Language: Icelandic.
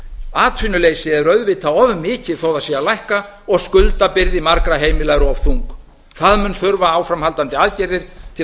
atvinnuleysi er auðvitað of mikið þó það sé að lækka og skuldabyrði margra heimila er of þung það mun þurfa áframhaldandi aðgerðir til að